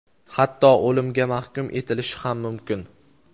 hatto o‘limga mahkum etilishi ham mumkin.